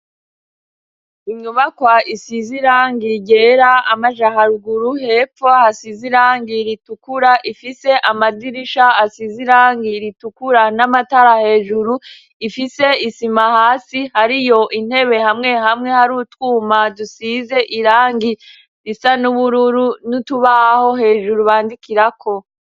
Inyubakwa isize irangi ryera amajaharuguru hepfo hasize irangi ritukura ifise amadirisha asize irangi ritukura n'amatara hejuru ifise isima hasi hariyo intebe hamwe hamwe hari utwuma dusize irangi risa n'ubururu n'itubaho hejuru bandikira ko.